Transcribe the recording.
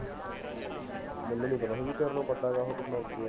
ਮੇਨੂ ਨੀ ਪਤਾ ਸੀ ਕਿ ਚਰਨੋ ਤੇਰੇ ਨਾਲੋਂ ਅੱਗੇ ਹੈ